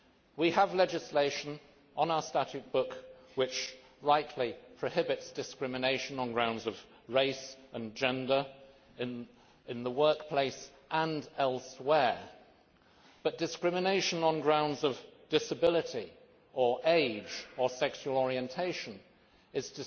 We have legislation on our statute book which rightly prohibits discrimination on grounds of race and gender in the workplace and elsewhere, but discrimination on grounds of disability or age or sexual orientation is